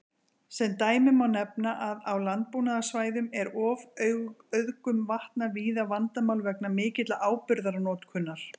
Sem dæmi má nefna að á landbúnaðarsvæðum er ofauðgun vatna víða vandamál vegna mikillar áburðarnotkunar.